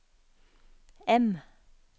M